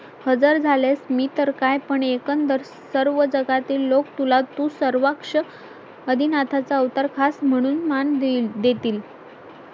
हजर झाल्यास मी तर काय पण एकंदर सर्व जगातील लोक तुला तू सर्वेक्ष आधिनाथचा अवतार खास म्हणून मान देईल देतील